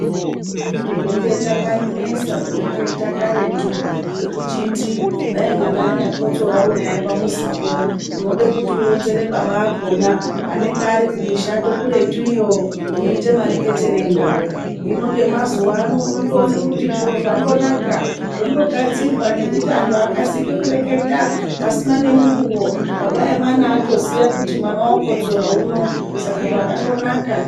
Kureketa kwainesa kureketa karetu. Kwekuchiti dai mwana anyakotsora unaye pamuzipo unode kuti kuronzere baba akhona anenge arikumushando kuretu iyo, unoite mareketere eyi nawo. Hino ,ngemazuwano unondoone kuti zviro zvandonaka zvondogadzirwa ngekuti antu akasike kureketa pasina ngemukuwo baba emwana atoziya kuti mwana okotsora unowu, saka zvandonaka.